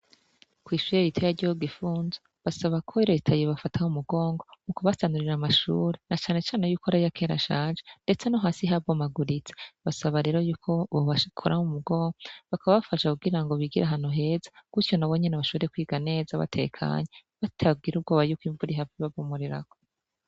Kw'ishure riteya ryo gifunzo basaba ko retayire bafataho umugongo mu kubasanurira amashure na canecane yuko arayakera shaje, ndetse no hasi habomaguritse basaba rero yuko bobashikuraho umugongwa bakaba bafasha kugira ngo bigira hano heza gutyo na bo nyene bashore kwiganeza batekanya batagira ubwoba yuko imvuri hafi babomorerako.